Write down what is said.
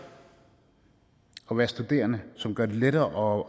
at være studerende som gør det lettere